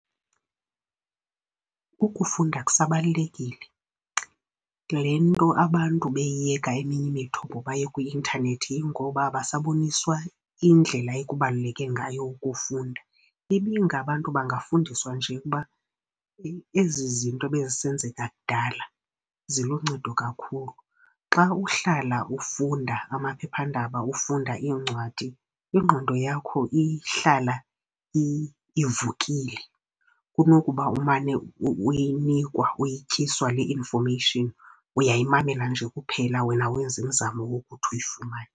Ukufunda kusabalulekile. Le nto abantu beyiyeka eminye imithombo baye kwi-intanethi yingoba abasaboniswa indlela ekubaluleke ngayo ukufunda. Ibingabantu bangafundiswa nje kuba ezi zinto ebezisenzeka kudala ziluncedo kakhulu. Xa uhlala ufunda amaphephandaba, ufunda iincwadi, ingqondo yakho ihlala ivukile kunokuba umane uyinikwa uyityiswa le information. Uyayimamela nje kuphela wena awenzi mizamo yokuthi uyifumane.